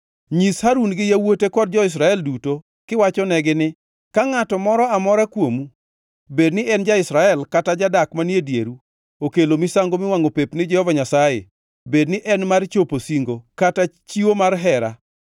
“Nyis Harun gi yawuote kod jo-Israel duto kiwachonegi ni: ‘Ka ngʼato moro amora kuomu, bed ni en ja-Israel kata jadak manie dieru okelo misango miwangʼo pep ni Jehova Nyasaye, bedni en mar chopo singo kata chiwo mar hera,